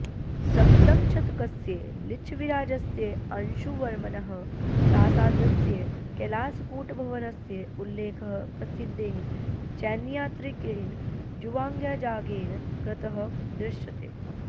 सप्तमशतकस्य लिच्छविराजस्य अंशुवर्मणः प्रासादस्य कैलासकूटभवनस्य उल्लेखः प्रसिद्धेन चैनीयात्रिकेण झुवाङ्ग्जाङ्गेन कृतः दृश्यते